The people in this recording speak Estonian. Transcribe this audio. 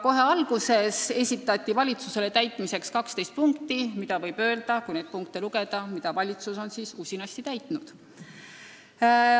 Kohe alguses esitati valitsusele täitmiseks 12 punkti ja kui neid punkte lugeda, siis võib öelda, et valitsus on neid usinasti täitnud.